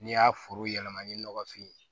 N'i y'a foro yɛlɛma ni nɔgɔfin